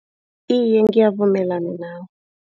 Iye ngiyavumelana nawe.